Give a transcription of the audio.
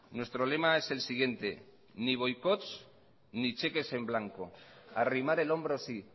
nuestro lema es el siguiente ni boicots ni cheques en blanco arrimar el hombro sí